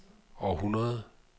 århundrede